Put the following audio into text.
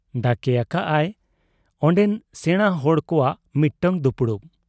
ᱰᱟᱠᱮ ᱟᱠᱟᱜ ᱟᱭ ᱚᱱᱰᱮᱱ ᱥᱮᱬᱟ ᱦᱚᱲ ᱠᱚᱣᱟᱜ ᱢᱤᱫᱴᱟᱹᱝ ᱫᱩᱯᱩᱲᱩᱵ ᱾